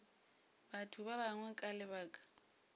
batho ba bangwe ka lebaka